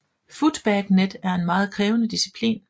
Footbag Net er en meget krævende disciplin